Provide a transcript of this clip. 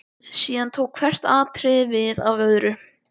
Síðan tók hvert atriðið við af öðru.